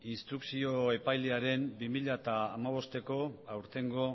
instrukzio epailearen bi mila hamabosteko aurtengo